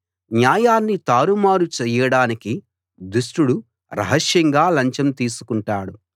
న్యాయాన్ని తారుమారు చేయడానికి దుష్టుడు రహస్యంగా లంచం తీసుకుంటాడు